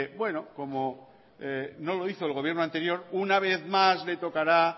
como no lo hizo el gobierno anterior una vez más le tocará